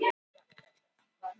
Gangi þér allt í haginn, Ívana.